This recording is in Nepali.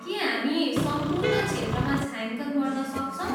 के हामी सम्पूर्ण क्षेत्रमा छायाङ्कन गर्न सक्छौँ?